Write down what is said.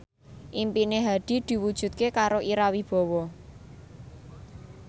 impine Hadi diwujudke karo Ira Wibowo